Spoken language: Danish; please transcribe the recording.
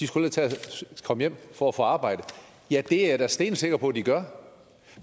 skulle tage at komme hjem for at få arbejde ja det er jeg da stensikker på at de gør